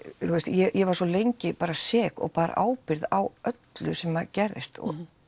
ég var svo lengi bara sek og bar ábyrgð á öllu sem gerðist